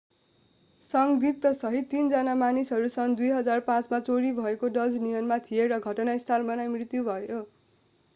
संदिग्ध सहित तीनजना मानिसहरू सन् 2005 मा चोरी भएको डज नियनमा थिए र घटनास्थलमा नै मृत्यु पनि भयो